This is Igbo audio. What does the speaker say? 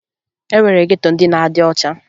E nwere geto ndị na-adị ọcha